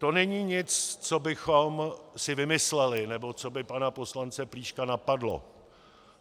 To není nic, co bychom si vymysleli nebo co by pana poslance Plíška napadlo.